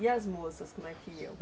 E as moças, como é que iam?